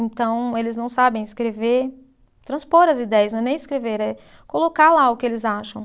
Então, eles não sabem escrever, transpor as ideias, não é nem escrever, é colocar lá o que eles acham.